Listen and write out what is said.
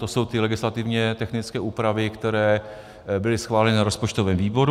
To jsou ty legislativně technické úpravy, které byly schváleny na rozpočtovém výboru.